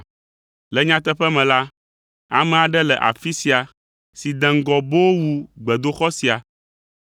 Le nyateƒe me la, ame aɖe le afi sia si de ŋgɔ boo wu gbedoxɔ sia!